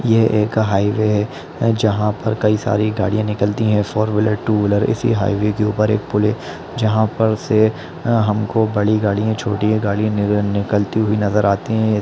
ये एक हाइवे है जहाँ पर कई सारी गाडियां निकलती है फॉर व्हीलर टू व्हीलर इसी हाइवे के ऊपर एक पुल है जहाँ पर से हमको बड़ी गाड़ियां छोटी गाड़ियां नि निकलती हुई नज़र आती है इ--